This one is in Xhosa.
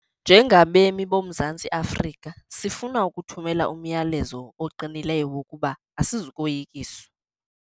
Njengabemi boMzantsi Afrika, sifuna ukuthumela umyalezo oqinileyo wokuba asizukoyikiswa.